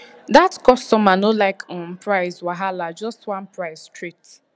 that customer no like um price wahalajust one price straight